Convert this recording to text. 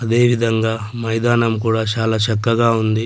అదేవిధంగా మైదానం కూడా చాలా చక్కగా ఉంది.